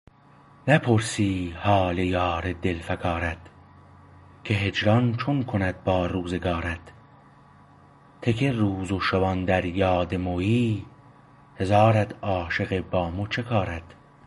نپرسی حال یار دل فکارت که هجران چون کند با روزگارت ته که روز و شوآن در یاد مویی هزارت عاشقه با مو چه کارت